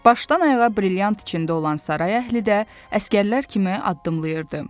Başdan ayağa brilyant içində olan saray əhli də əsgərlər kimi addımlayırdı.